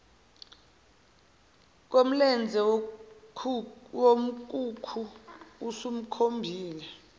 komlenze wenkukhu usumkhombile